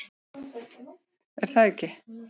Ég er það ekki.